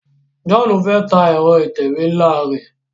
John fè tá Ẹ̀rọ ìtẹ̀wé nla rẹ.